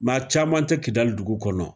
Nka caman tɛ Kidali dugu kɔnɔ.